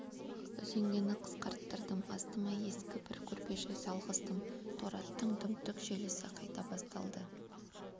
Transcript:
үзеңгіні қысқарттырдым астыма ескі бір көрпеше салғыздым торы аттың дүңк-дүңк желісі қайта басталды